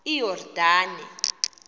iyordane